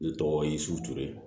Ne tɔgɔ ye suture